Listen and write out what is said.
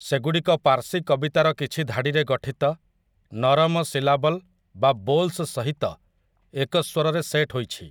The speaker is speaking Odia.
ସେଗୁଡ଼ିକ ପାର୍ସୀ କବିତାର କିଛି ଧାଡ଼ିରେ ଗଠିତ, ନରମ ସିଲାବଲ୍ ବା ବୋଲ୍ସ ସହିତ ଏକ ସ୍ୱରରେ ସେଟ୍ ହୋଇଛି ।